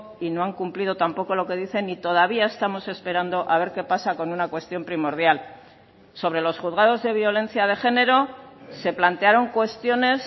y no han cumplido tampoco lo que dicen y todavía estamos esperando a ver qué pasa con una cuestión primordial sobre los juzgados de violencia de género se plantearon cuestiones